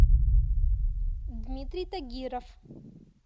дмитрий тагиров